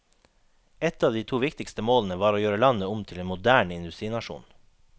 Et av de to viktigste målene var å gjøre landet om til en moderne industrinasjon.